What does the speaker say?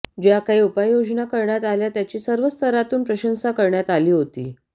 ज्या काही उपाययोजना करण्यात आल्या त्याची सर्व स्तरांतून प्रशंसा करण्यात आली होती